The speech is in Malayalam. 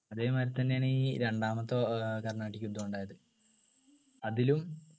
അതേമാതിരി തന്നെയാണ് ഈ രണ്ടാമത്തെ ഏർ കർണാടിക് യുദ്ധം ഉണ്ടായത് അതിലും